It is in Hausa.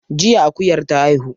Jiya akuyar ta haihu.